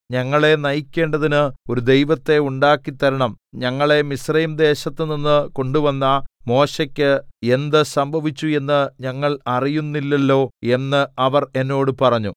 ഞങ്ങളെ നയിക്കേണ്ടതിന് ഒരു ദൈവത്തെ ഉണ്ടാക്കി തരണം ഞങ്ങളെ മിസ്രയീംദേശത്തുനിന്ന് കൊണ്ടുവന്ന മോശെയ്ക്ക് എന്ത് സംഭവിച്ചു എന്ന് ഞങ്ങൾ അറിയുന്നില്ലല്ലോ എന്ന് അവർ എന്നോട് പറഞ്ഞു